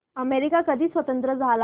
America कधी स्वतंत्र झाला